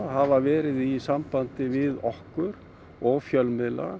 hafa verið í sambandi við okkur og fjölmiðla